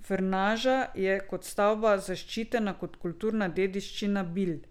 Frnaža je kot stavba zaščitena kot kulturna dediščina Bilj.